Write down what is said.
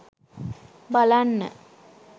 බලන්න,